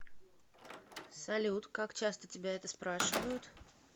салют как часто тебя это спрашивают